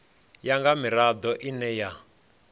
ya nga mirado ine ya